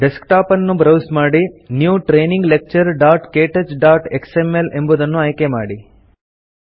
desktop ಅನ್ನು browse ಮಾಡಿ new training lecturektouchಎಕ್ಸ್ಎಂಎಲ್ ಎಂಬುದನ್ನು ಆಯ್ಕೆಮಾಡಿ